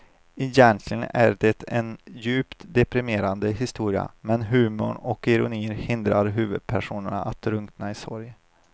Egentligen är det en djupt deprimerande historia men humorn och ironin hindrar huvudpersonen att drunkna i sorg.